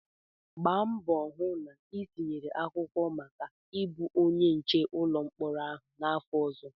Gbaa mbọ hụ na itinyere akwụkwọ maka ịbụ onye nche ụlọ mkpọrọ ahụ n'afọ ọzọ!